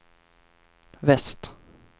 väst